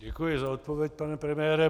Děkuji za odpověď, pane premiére.